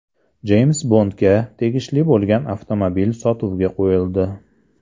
Jeyms Bondga tegishli bo‘lgan avtomobil sotuvga qo‘yildi.